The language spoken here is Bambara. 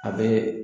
A bɛ